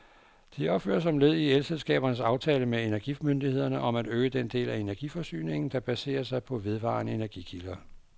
De opføres som led i elselskabernes aftale med energimyndighederne om at øge den del af energiforsyningen, der baserer sig på vedvarende energikilder.